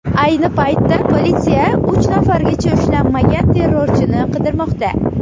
Ayni paytda politsiya uch nafargacha ushlanmagan terrorchini qidirmoqda.